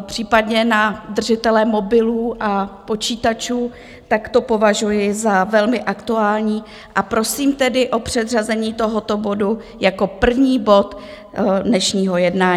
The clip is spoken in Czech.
případně na držitele mobilů a počítačů, tak to považuji za velmi aktuální a prosím tedy o předřazení tohoto bodu jako první bod dnešního jednání.